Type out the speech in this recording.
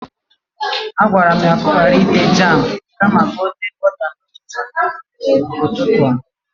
He was commanded to not use the jam but butter on his bread this morning!